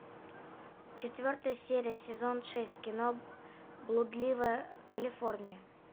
четвертая серия сезон шесть кино блудливая калифорния